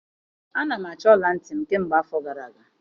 Ana m achọ ọla ntị m kemgbe afọ gara aga